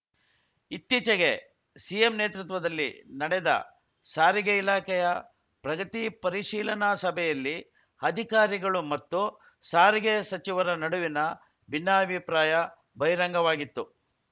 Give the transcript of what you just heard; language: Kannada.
ಇತ್ತೀಚೆಗೆ ಸಿಎಂ ನೇತೃತ್ವದಲ್ಲಿ ನಡೆದ ಸಾರಿಗೆ ಇಲಾಖೆಯ ಪ್ರಗತಿ ಪರಿಶೀಲನಾ ಸಭೆಯಲ್ಲಿ ಅಧಿಕಾರಿಗಳು ಮತ್ತು ಸಾರಿಗೆ ಸಚಿವರ ನಡುವಿನ ಭಿನ್ನಾಭಿಪ್ರಾಯ ಬಹಿರಂಗವಾಗಿತ್ತು